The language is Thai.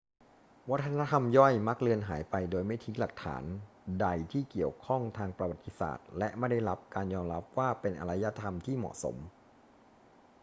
วัฒนธรรมย่อยมักเลือนหายไปโดยไม่ทิ้งหลักฐานใดที่เกี่ยวข้องทางประวัติศาสตร์และไม่ได้รับการยอมรับว่าเป็นอารยธรรมที่เหมาะสม